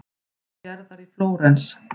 Gerðar í Flórens.